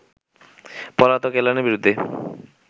পলাতক এলানের বিরুদ্ধে